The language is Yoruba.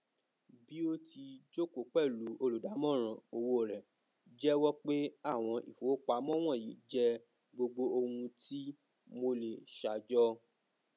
bi o ti joko pẹlu oludamoran owo rẹ jẹwọ pe awọn ifowopamọ wọnyi jẹ gbogbo ohun ti mo le ṣajọ